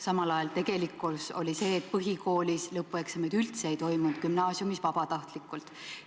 Samal ajal oli tegelikkus see, et põhikoolis lõpueksameid üldse ei toimunud, gümnaasiumis toimusid need vabatahtlikkuse alusel.